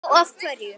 Já, af hverju?